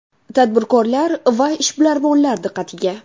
Tadbirkorlar va ishbilarmonlar diqqatiga!.